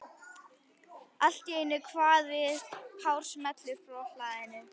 Allt í einu kvað við hár smellur frá hlaðinu.